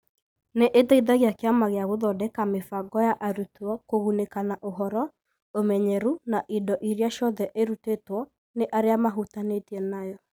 Nĩ ĩteithagia Kĩama gĩa gũthondeka mĩbango ya arutwo kũgunĩka na ũhoro, ũmenyeru, na indo iria ciothe ĩrutĩtwo nĩ arĩa mahutanĩtie nayo.